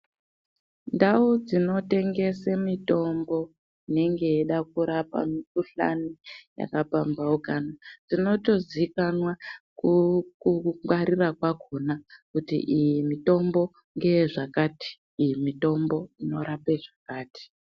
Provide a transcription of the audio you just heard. Ndau dzinotengese mitombo inenge yeida kurapa mikhuhlani yakapambhahukana inotozikanwa kungwarira kwakhona kuti iyi mitombo ngeye zvakati, iyi mitombo inorape zvakati.